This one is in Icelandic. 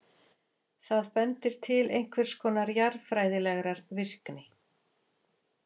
Það bendir til einhvers konar jarðfræðilegrar virkni.